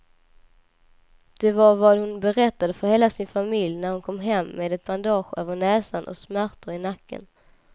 Det var vad hon berättade för hela sin familj när hon kom hem med ett bandage över näsan och smärtor i nacken.